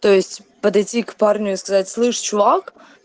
то есть подойти к парню и сказать слышишь чувак